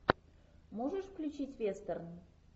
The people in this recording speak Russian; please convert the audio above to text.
можешь включить вестерн